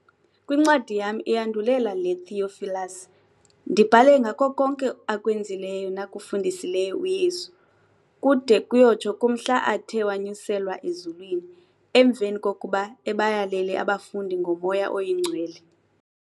Kwincwadi yam iyandulela le, Theophilus, ndibhale ngako konke akwenzileyo nakufundisileyo uYesu, kude kuyotsho kumhla athe wanyuselwa ezulwini, emveni kokuba ebayalele abafundi ngoMoya Oyingcwele.